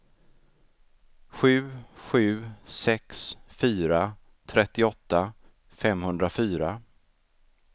sju sju sex fyra trettioåtta femhundrafyra